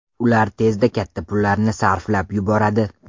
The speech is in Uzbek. Ular tezda katta pullarni sarflab yuboradi.